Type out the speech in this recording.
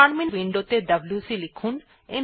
terminal window ত়ে WC লিখুন